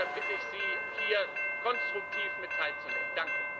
Deshalb bitte ich Sie, hier konstruktiv mit teilzunehmen.